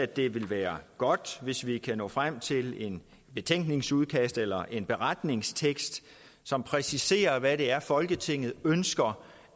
det vil være godt hvis vi kan nå frem til et betænkningsudkast eller en beretningsekst som præciserer hvad det er folketinget ønsker